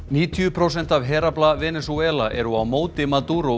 níutíu prósent af herafla Venesúela eru á móti